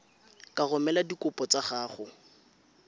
ka romela dikopo tsa gago